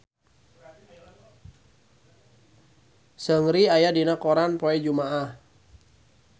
Seungri aya dina koran poe Jumaah